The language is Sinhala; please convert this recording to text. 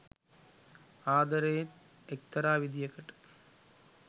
ආද‌රෙත් එක්තරා විදියකට